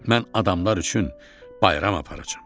Mən adamlar üçün bayram aparacam.